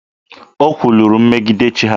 O kwuluru megide chi ha.